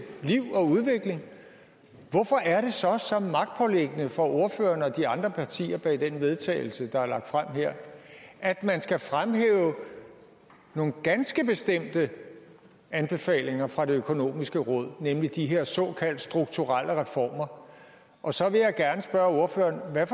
liv og udvikling hvorfor er det så så magtpåliggende for ordføreren og de andre partier bag det forslag til vedtagelse der er fremsat her at man skal fremhæve nogle ganske bestemte anbefalinger fra det økonomiske råd nemlig de her såkaldt strukturelle reformer og så vil jeg gerne spørge ordføreren hvad